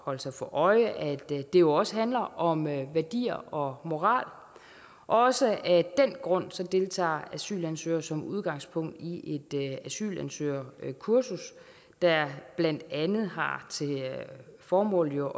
holde sig for øje at det jo også handler om værdier og moral også af den grund deltager asylansøgere som udgangspunkt i et asylansøgerkursus der blandt andet har til formål at